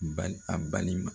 N bali , a balima